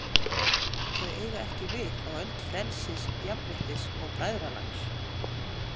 Þau eiga ekki við á öld frelsis, jafnréttis og bræðralags.